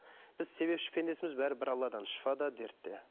біз себепші пендесіміз бәрі бір алладан шифа да дерт те